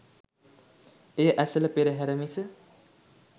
එය ඇසළ පෙරහර මිස